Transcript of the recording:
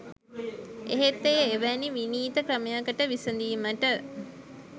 එහෙත් එය එවැනි විනීත ක්‍රමයකට විසඳීමට